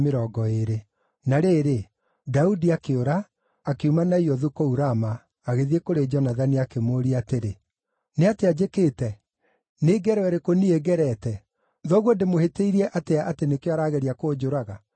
Na rĩrĩ, Daudi akĩũra, akiuma Naiothu kũu Rama agĩthiĩ kũrĩ Jonathani, akĩmũũria atĩrĩ, “Nĩ atĩa njĩkĩte? Nĩ ngero ĩrĩkũ niĩ ngerete? Thoguo ndĩmũhĩtĩirie atĩa atĩ nĩkĩo arageria kũnjũraga?”